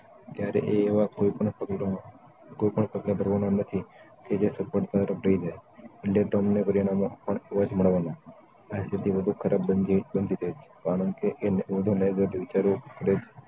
ત્યારે તે એવા કોઈપણ પગલાં માં કોઈ પણ પગલાં ભરવાનો નથી તે જે સફળતા તરફ લઈ જાય ચેરીટોમને પરિણામો એવા જ મળવાના આથી વધુ ખરાબ બનતી કારણ કે એમને વધુ negative વિચારો કરે છે